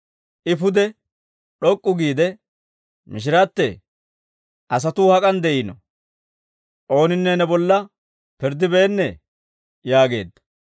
I pude d'ok'k'u giide mishiratto, «Mishirattee, asatuu hak'an de'iino? Ooninne ne bolla pirddibeennee?» yaageedda.